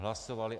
Hlasovali.